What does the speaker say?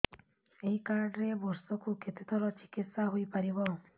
ଏଇ କାର୍ଡ ରେ ବର୍ଷକୁ କେତେ ଥର ଚିକିତ୍ସା ହେଇପାରିବ